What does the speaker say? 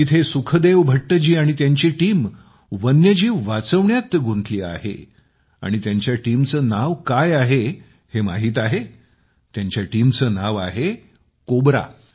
तिथे सुखदेव भट्टजी आणि त्यांची टीम वन्यजीव वाचवण्यात गुंतलेली आहे आणि त्यांच्या टीमचे नाव काय आहे माहीत आहे त्याच्या टीमचे नाव आहे कोब्रा